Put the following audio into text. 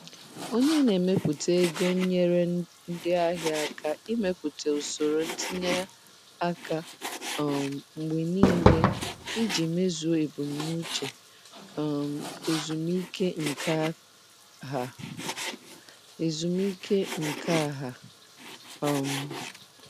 Onye na-eme atụmatụ ego nyeere ndị ahịa aka ịmepụta usoro ntinye aka um mgbe niile iji mezuo ebumnuche um ezumike nka ha. ezumike nka ha. um